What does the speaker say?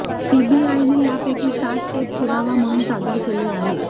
सीबीआयने यापैकी सात टेप पुरावा म्हणून सादर केले आहेत